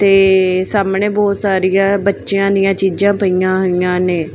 ਤੇ ਸਾਹਮਣੇ ਬਹੁਤ ਸਾਰੀਆ ਬੱਚਿਆਂ ਦੀਆਂ ਚੀਜ਼ਾਂ ਪਈਆਂ ਹੋਈਆਂ ਨੇ।